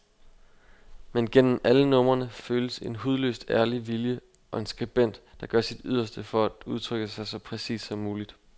Men gennem alle numrene føles en hudløst ærlig vilje og en skribent, der gør sit yderste for at udtrykke sig så præcist som muligt.